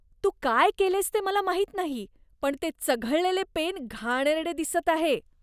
तू काय केलेस ते मला माहीत नाही, पण ते चघळलेले पेन घाणेरडे दिसत आहे.